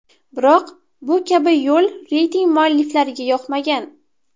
Biroq bu kabi yo‘l reyting mualliflariga yoqmagan.